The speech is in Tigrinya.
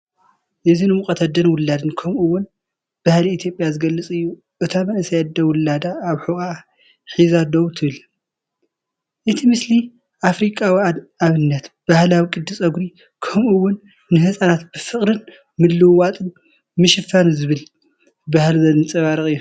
እዚ ንሙቐት ኣደን ውላድን ከምኡ’ውን ባህሊ ኢትዮጵያ ዝገልጽ እዩ። እታ መንእሰይ ኣደ ውላዳ ኣብ ሕቖኣ ሒዛ ደው ትብል። እቲ ምስሊ ኣፍሪቃዊ ኣደነት ባህላዊ ቅዲ ጸጉሪ ከምኡ’ውን ንህጻናት ብፍቕርን ምልውዋጥን ምሽፋን ዝብል ባህሊ ዘንጸባርቕ እዩ።